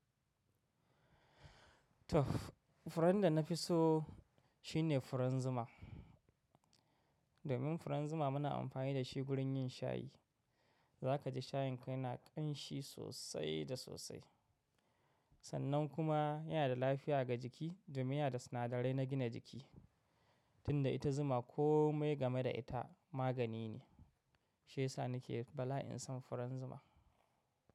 Tuff furen da na fi so shine furen zuma. Domin furen zuma muna amfani da shi wurin yin shayi. Za ka ji shayin ka yana ƙan shi sosai da sosai. Sannan kuma yana da lafiya ga jiki, domin yana da sinadarai na gina jiki. Tunda ita zuma kome game da ita magani ne. Shiyasa na ke bala'in sam furen zuma.